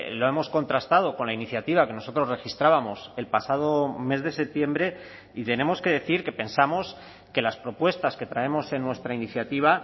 lo hemos contrastado con la iniciativa que nosotros registrábamos el pasado mes de septiembre y tenemos que decir que pensamos que las propuestas que traemos en nuestra iniciativa